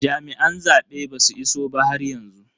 Jami'an zaben basu iso ba haryanzu.